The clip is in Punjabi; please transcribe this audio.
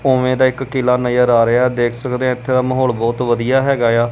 ਉਵੇਂ ਦਾ ਇੱਕ ਕਿਲਾ ਨਜ਼ਰ ਆ ਰਿਹਾ ਦੇਖ ਸਕਦੇ ਆ ਇਥੇ ਦਾ ਮਾਹੌਲ ਬਹੁਤ ਵਧੀਆ ਹੈਗਾ ਆ।